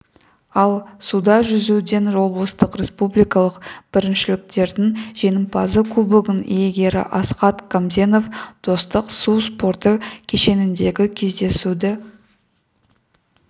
ал суда жүзуден облыстық республикалық біріншіліктердің жеңімпазы кубогінің иегері асхат камзенов достық су спорты кешеніндегі кездесуді